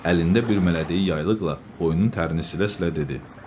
Əlində bir mələdəyi yaylıqla, boynunun tərlərini silə-silə dedi: